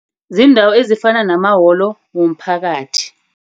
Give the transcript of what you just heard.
Ziindawo ezifana namawolo womphakathi.